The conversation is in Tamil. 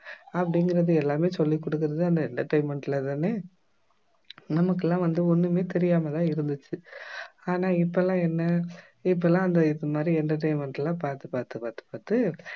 அப்படிங்கிறது எல்லாமே சொல்லிக் கொடுக்கிறது தான் இந்த entertainment ல தானே நமக்கு எல்லாம் வந்து ஒண்ணுமே தெரியாம தான் இருந்துச்சு ஆனா இப்பெல்லாம் என்ன இப்பெல்லாம் அந்த இது மாதிரி entertainment லாம் பாத்து பாத்து பாத்து பாத்து